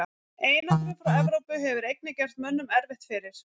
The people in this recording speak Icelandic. Einangrun frá Evrópu hefur einnig gert mönnum erfitt fyrir.